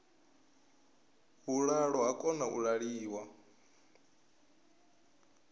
vhuḓalo ha kona u ṅwaliwa